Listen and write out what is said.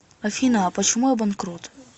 афина а почему я банкрот